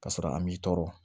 Ka sɔrɔ an m'i tɔɔrɔ